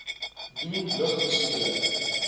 doen lug besoedeling